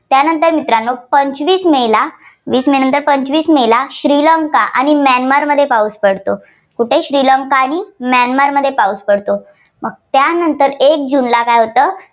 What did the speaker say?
त्यानंतर मित्रांनो पंचवीस मेला वीस मेनंतर पंचवीस मेला श्रीलंका आणि म्यानमारमध्ये पाऊस पडतो. कुठे श्रीलंका आणि म्यानमारमध्ये पाऊस पडतो. त्यानंतर एक जूनला काय होतं?